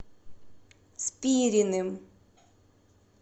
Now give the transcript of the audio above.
спириным